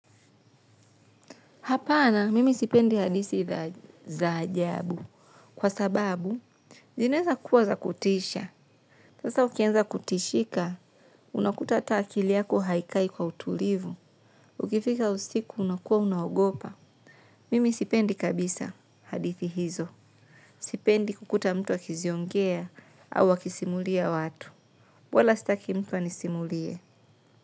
Hapana mimi sipendi hadithi za ajabu kwa sababu zinaeza kuwa za kutisha. Sasa ukianza kutishika unakuta hata akili yako haikai kwa utulivu. Ukifika usiku unakuwa unaogopa. Mimi sipendi kabisa hadithi hizo. Sipendi kukuta mtu akiziongea au akisimulia watu wala sitaki mtu anisimulie.